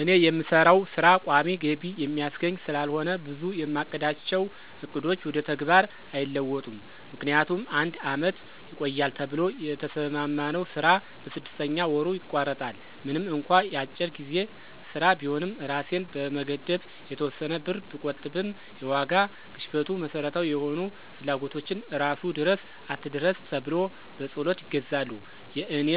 እኔ የምሰራው ሥራ ቋሚ ገቢ የሚያስገኝ ስላልሆነ ብዙ የማቅዳቸው ዕቅዶች ወደ ተግባር አይለወጡም። ምክንያቱም አንድ አመት ይቆያል ተብሎ የተሰማማነው ስራ በስድስተኛ ወሩ ይቋረጣል። ምንም እንኳ የአጭር ጊዜ ሥራ ቢሆንም እራሴን በመገደብ የተወሰነ ብር ብቆጥብም የዋጋ ግሽፈቱ መሠረታዊ የሆኑ ፍላጎቶችን እራሱ ድረስ አትድረስ ተብሎ በፀሎት ይገዛሉ። የእኔ